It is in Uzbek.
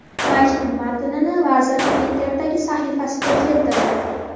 Maktub matnini vazir Twitter’dagi sahifasida keltirdi.